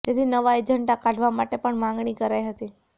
જેથી નવા એજન્ડા કાઢવા માટે પણ માગણી કરાઇ હતી